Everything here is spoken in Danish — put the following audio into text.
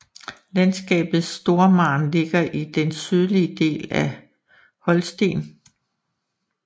Landskabet Stormarn ligger i den sydlige del af Holsten